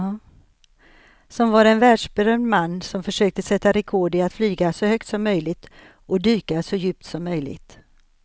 Som var en världsberömd man som försökte sätta rekord i att flyga så högt som möjligt och dyka så djupt som möjligt.